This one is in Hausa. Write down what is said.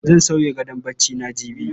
Zan sauya gadon barcina jibi.